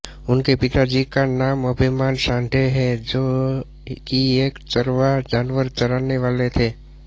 उनके पिताजी का नाम अभिमान साठे है जो कि एक चरवाह जानवर चरानेवाले थे